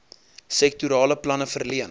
sektorale planne verleen